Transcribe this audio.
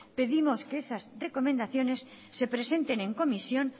pedimos que esas recomendaciones se presenten en comisión